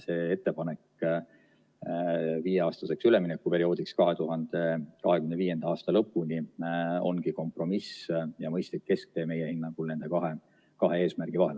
See ettepanek viieaastaseks üleminekuperioodiks 2025. aasta lõpuni ongi meie hinnangul kompromiss ja mõistlik kesktee nende kahe eesmärgi vahel.